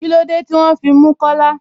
Kílódé tí wọn fí mú Kọ́là?